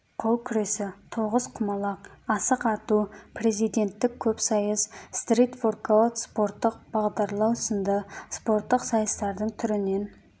қол күресі тоғызқұмалақ асық ату президенттік көпсайыс стрит воркаут спорттық бағдарлау сынды спорттық сайыстардың түрінен